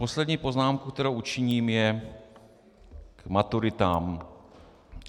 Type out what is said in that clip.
Poslední poznámka, kterou učiním, je k maturitám.